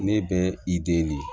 Ne bɛ i de